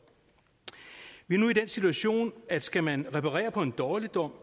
vi er nu i den situation at skal man reparere på en dårligdom